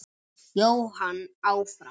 Jóhann áfram.